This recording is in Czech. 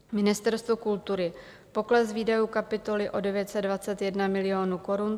Ministerstvo kultury - pokles výdajů kapitoly o 921 milionů korun.